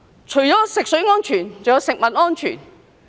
除食水安全外，還有食物安全。